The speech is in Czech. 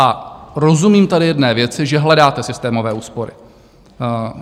A rozumím tady jedné věci, že hledáte systémové úspory.